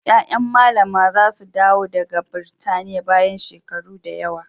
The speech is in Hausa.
Ƴaƴan Mallama za su dawo daga Birtaniya bayan shekaru da yawa.